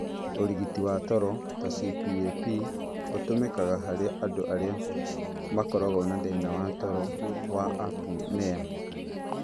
Ũrigiti wa toro ta CPAP ũtũmĩkaga harĩ andũ arĩa makoragwo na thĩna wa toro wa apnea.